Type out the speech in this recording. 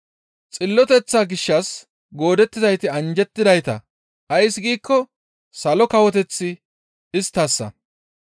Xilloteththa gishshas goodettizayti anjjettidayta; ays giikko salo kawoteththi isttassa.